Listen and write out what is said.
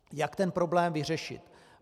Jak ten problém vyřešit?